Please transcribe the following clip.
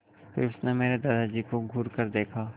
फिर उसने मेरे दादाजी को घूरकर देखा